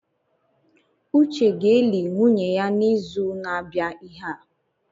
Uche ga-eli nwunye ya n’izu na-abịa ihe a